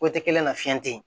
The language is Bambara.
kelen na fiɲɛ te yen